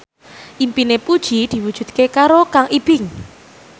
impine Puji diwujudke karo Kang Ibing